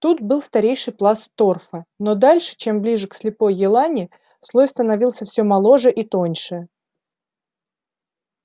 тут был старейший пласт торфа но дальше чем ближе к слепой елани слой становился все моложе и тоньше